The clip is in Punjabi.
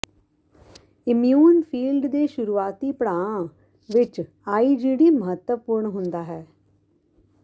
ਇਮਿਊਨ ਫੀਲਡ ਦੇ ਸ਼ੁਰੂਆਤੀ ਪੜਾਆਂ ਵਿਚ ਆਈਜੀਡੀ ਮਹੱਤਵਪੂਰਨ ਹੁੰਦਾ ਹੈ